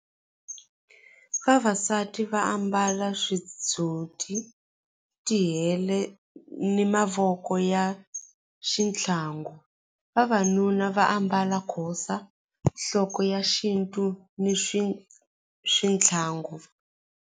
Vavasati va ambala ti hele ni mavoko ya xitlhangu vavanuna va ambala khosa nhloko ya xintu ni swi swithlangu.